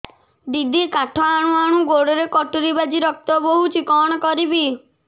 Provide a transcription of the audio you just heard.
ଦିଦି କାଠ ହାଣୁ ହାଣୁ ଗୋଡରେ କଟୁରୀ ବାଜି ରକ୍ତ ବୋହୁଛି କଣ କରିବି